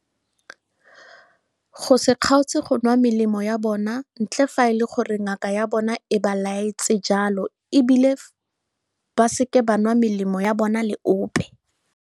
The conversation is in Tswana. Go se kgaotse go nwa melemo ya bona ntle fa e le gore ngaka ya bona e ba laetse jalo e bile ba seke ba nwa melemo ya bona le ope.